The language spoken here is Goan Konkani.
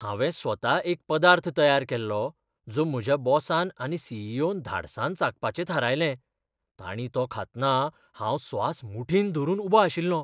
हांवें स्वता एक पदार्थ तयार केल्लो, जो म्हज्या बॉसान आनी सी. ई. ओ. न धाडसान चाखपाचें थारायलें. तांणी तो खातना हांव स्वास मुठींत धरून उबो आशिल्लो.